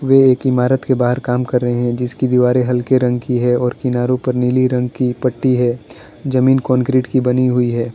वोह एक इमारत के बाहर काम कर रहे हैं जिसकी दीवारें हल्के रंग की है और किनारो पर नीली रंग की पट्टी है जमीन कंक्रीट की बनी हुई है।